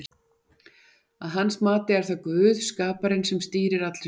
Að hans mati er það Guð, skaparinn, sem stýrir allri sögu.